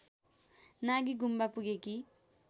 Nagi Gumba पुगेकी